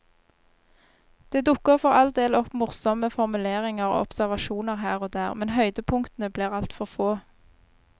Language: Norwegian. Det dukker for all del opp morsomme formuleringer og observasjoner her og der, men høydepunktene blir altfor få.